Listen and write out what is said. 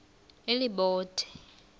elibode